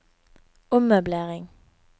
ommøblering